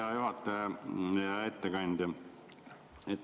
Hea juhataja, hea ettekandja!